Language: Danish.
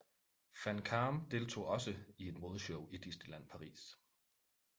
Van Kaam deltog også i et modeshow i Disneyland Paris